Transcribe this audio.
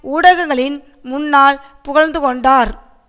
ஊடகங்களின் முன்னால் புகழ்ந்து கொண்டார்